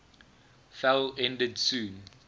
fell ended soon